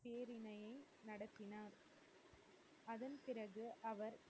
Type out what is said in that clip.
அவர்க்கு,